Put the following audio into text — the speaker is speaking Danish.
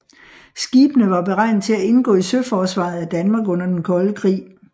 Skibene var beregnet til at indgå i søforsvaret af Danmark under den Kolde Krig